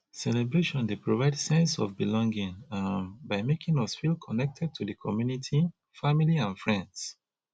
celebration dey provide sense of belonging um by making us feel connected to di community family and friends